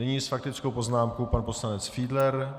Nyní s faktickou poznámkou pan poslanec Fiedler.